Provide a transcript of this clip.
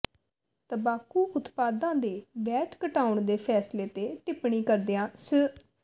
ਤਬਾਕੂ ਉਤਪਾਦਾਂ ਤੇ ਵੈਟ ਘਟਾਉਣ ਦੇ ਫੈਸਲੇ ਤੇ ਟਿਪਣੀ ਕਰਦਿਆਂ ਸ੍ਰ